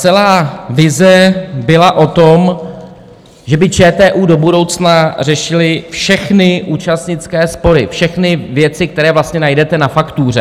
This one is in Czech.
Celá vize byla o tom, že by ČTÚ do budoucna řešil všechny účastnické spory, všechny věci, které vlastně najdete na faktuře.